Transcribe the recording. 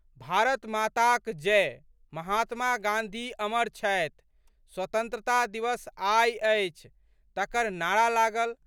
भारत माताक जय, महात्मा गाँधी अमर छथि, स्तंत्रता दिवस आइ अछि" तकर नारा लागल।